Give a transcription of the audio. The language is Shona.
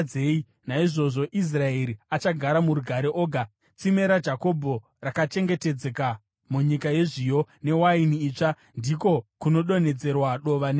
Naizvozvo Israeri achagara murugare oga; tsime raJakobho rakachengetedzeka munyika yezviyo newaini itsva, ndiko kunodonhedzerwa dova nedenga.